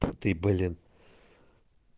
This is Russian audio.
ты блин